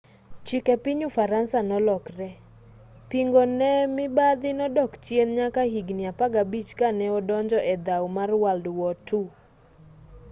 chike piny ufaransa nolokre pingo ne mibadhi nodok chien nyaka higni 15 kane odonje edhaw mar world war ii